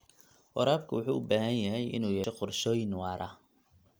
Waraabka wuxuu u baahan yahay inuu yeesho qorshooyin waara.